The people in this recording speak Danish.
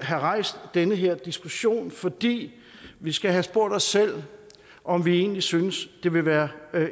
have rejst den her diskussion fordi vi skal have spurgt os selv om vi egentlig synes det vil være